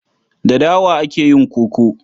Da dawa ake yin koko.